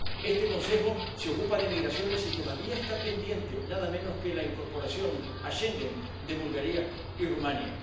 Este Consejo se ocupa de migraciones y todavía está pendiente nada menos que la incorporación a Schengen de Bulgaria y Rumanía.